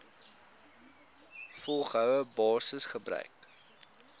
volgehoue basis gebruik